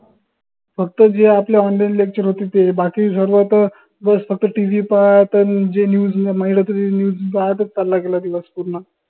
फक्त जे अपने onlinelecture होते ते बाकी सर्व त बस फक्त TV पाहा त जे news म्हणलं त news पाहातच चालला गेला दिवस पूर्ण